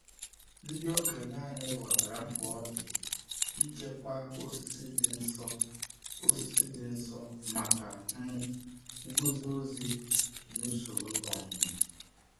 Ndị okenye anyị ghọtara mkpa ọ dị ichekwa osisi dị nsọ osisi dị nsọ maka um nguzozi na usoro ọmụmụ.